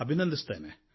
ಅಭಿನಂದಿಸುತ್ತೇನೆ